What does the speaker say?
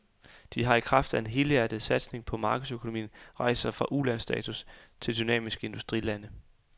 De har i kraft af en helhjertet satsning på markedsøkonomien rejst sig fra ulandsstatus til dynamiske industrilande.